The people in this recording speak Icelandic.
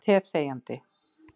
Ég drakk teið þegjandi.